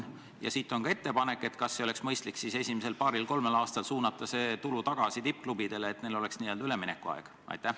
Ja sellega seoses on ka ettepanek: kas ei oleks mõistlik esimesel paaril-kolmel aastal suunata see tulu tagasi tippklubidele, et anda neile n-ö üleminekuaega?